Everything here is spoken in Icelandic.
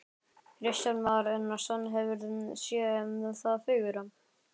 Kristján Már Unnarsson: Hefurðu séð það fegurra?